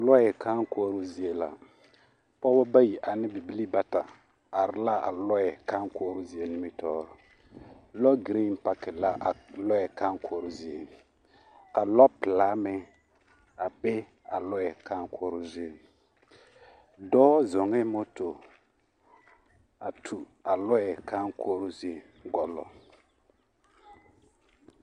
Lɔre kãã kɔɔro zie la , pɔgba bayi ane bibilii bata are la a lɔre kãã kɔɔro zie nimitɔɔre. lɔgreŋ paki la a lɔre kãã kɔɔro zie, ka lɔpilaa meŋ a be a lɔre kãã kɔɔro zie. dɔɔ zuŋee moto a tu a lure kãã kɔɔro zieŋ gɔŋlɔ